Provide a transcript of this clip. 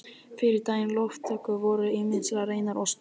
Fyrir daga loftkúta voru ýmis ráð reynd til köfunar.